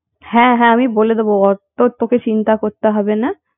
হ্যাঁ হ্যাঁ আমি বলে দেবো অত তোকে চিন্তা করতে হবে না